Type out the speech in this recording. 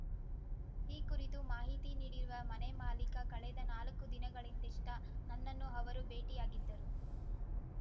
ಈ ಕುರಿತು ಮಾಹಿತಿ ನೀಡಿರುವ ಮನೆ ಮಾಲೀಕ ಕಳೆದ ನಾಲಕ್ಕು ದಿನಗಳಿಂದಿಷ್ಟ ನನ್ನನ್ನು ಅವರು ಭೇಟಿಯಾಗಿದ್ದರು